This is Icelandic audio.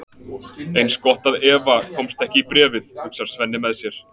Eins gott að Eva komist ekki í bréfið, hugsar Svenni með sér.